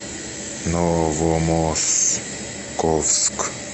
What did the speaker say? новомосковск